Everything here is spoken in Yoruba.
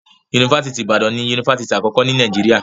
Yunifásitì Ìbàdàn ni Yunifásitì àkọ́kọ́ ni Nàìjíríà.